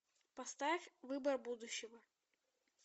поставь выбор будущего